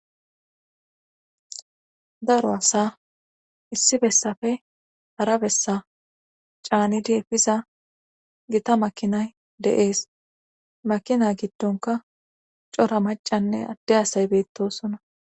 Daro asa issi bessafe harabessa caanidi efiza gita makinay deees makina giddonka cora macanne adde asay beettosona